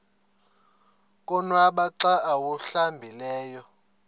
konwaba xa awuhlambileyo